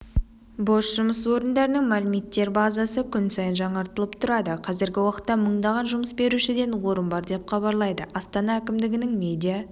бос жұмыс орындарының мәліметтер базасы күн сайын жаңартылып тұрады қазіргі уақытта мыңдаған жұмыс берушіден орын бар деп хабарлайды астана әкімдігінің медиа